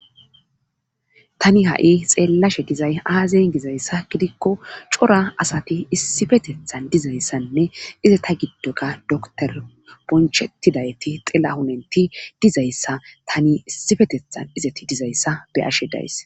tani ha7i xeellashe dizay aazien gizayssa gidikko cora asati issifetethan dizayssanne iza ta giddoka doktor bonchettidayti xilla hunenti dizayssa tani issifetethan izeti dizayssa be ashe days